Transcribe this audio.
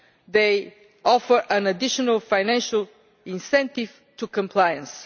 They offer an additional financial incentive to compliance.